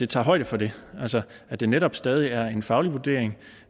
tager højde for det altså at det netop stadig er en faglig vurdering